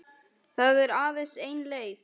Það er aðeins ein leið